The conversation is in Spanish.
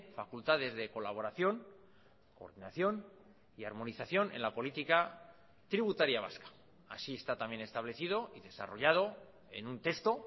facultades de colaboración coordinación y armonización en la política tributaria vasca así está también establecido y desarrollado en un texto